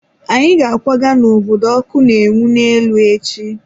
Anyị ga-akwaga n'obodo ọkụ na-enwu n'elu echi.